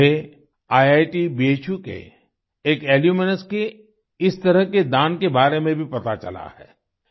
मुझे ईआईटी भू के एक एल्यूमनस के इसी तरह के दान के बारे में भी पता चला है